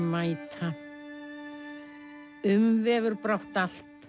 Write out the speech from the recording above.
mæta umvefur brátt allt